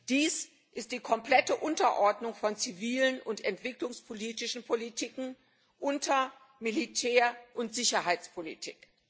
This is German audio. Dies ist die komplette Unterordnung von zivilen und entwicklungspolitischen Politiken unter Militär und Sicherheitspolitik.